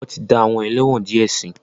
Wọ́n ti dá àwọn ẹlẹ́wọ̀n díẹ̀ sí.